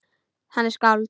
Hann er skáld.